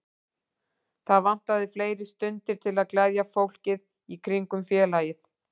Það vantaði fleiri stundir til að gleðja fólkið í kringum félagið.